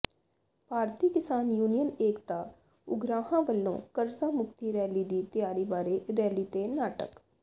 ਭਾਰਤੀ Kisan union Ekta Ugrahan ਵੱਲੋਂ ਕਰਜ਼ਾ ਮੁਕਤੀ ਰੈਲੀ ਦੀ ਤਿਆਰੀ ਬਾਰੇ ਰੈਲੀ ਤੇ ਨਾਟਕ